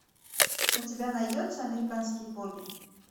у тебя найдется американские боги